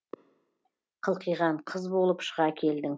қылқиған қыз болып шыға келдің